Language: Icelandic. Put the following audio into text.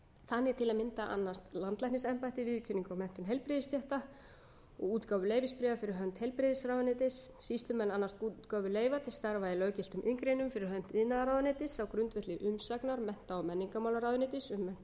þannig til að mynda annast landlæknisembættið viðurkenningu á menntun heilbrigðisstétta og útgáfu leyfisbréfa fyrir hönd heilbrigðisráðuneytis sýslumenn annast útgáfu leyfa til starfa í löggiltum iðngreinum fyrir hönd iðnaðarráðuneytis á grundvelli umsagnar mennta og menningarmálaráðuneytis um menntun